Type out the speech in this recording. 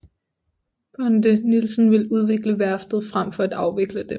Bonde Nielsen vil udvikle værftet frem for at afvikle det